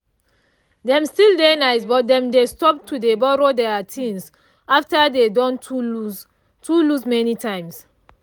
dem still dey nice but dem stop to dey borrow their things after dey don too loss loss many times